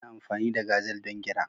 Ana amfani da gazal don gira.